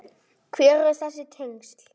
Hver eru þessi tengsl?